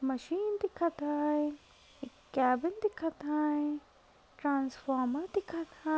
Machine दिखत आहे. एक कॅबिन दिखत आहे. ट्रान्सफॉर्मर दिखत आ--